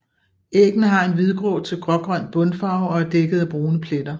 Æggene har en hvidgrå til grågrøn bundfarve og er dækket af brune pletter